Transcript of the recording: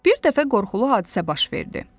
Bir dəfə qorxulu hadisə baş verdi.